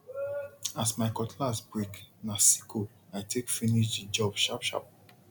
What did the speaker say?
as my cutlass break na sickle i take finish the job sharpsharp